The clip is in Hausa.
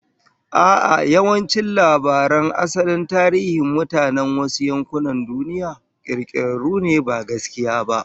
A'a, yawancin labaran asalin tarihin mutanen wasu yankunan duniya, kirkirarru ne ba gaskiya ba